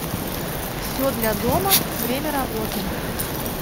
все для дома время работы